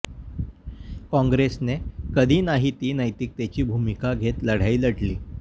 काँग्रेसने कधी नाही ती नैतिकतेची भूमिका घेत लढाई लढली